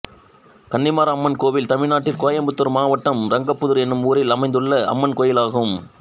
கன்னிமார் அம்மன் கோயில் தமிழ்நாட்டில் கோயம்புத்தூர் மாவட்டம் ரங்கம்புதூர் என்னும் ஊரில் அமைந்துள்ள அம்மன் கோயிலாகும்